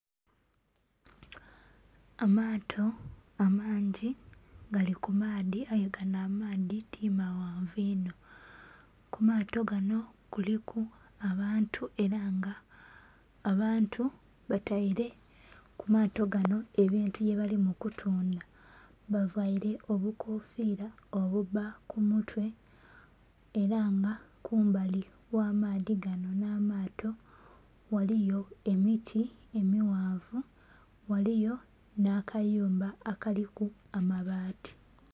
Amaato amangi gali ku maadhi aye ganho amaadhi ti maghanvu inho, ku maato ganho kuliku abantu era nga abantu bataire ku mato ganho ebintu bye bali kutundha bavaire obukofira obubba ku mutwe era nga kumbali gha maadhi ganho nha maato, ghaliyo emiti emighanvu ghaliyo nha kayumba akaliku amabati.